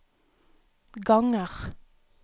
ganger